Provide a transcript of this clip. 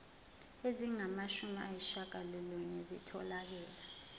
ezingamashumi ayishiyagalolunye zitholakele